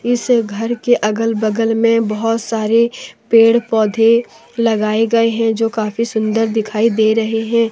इस घर के अगल बगल में बहोत सारे पेड़ पौधे लगाए गए हैं जो काफी सुंदर दिखाई दे रहे हैं।